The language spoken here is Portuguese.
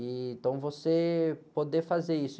E então, você poder fazer isso.